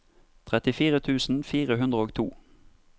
trettifire tusen fire hundre og to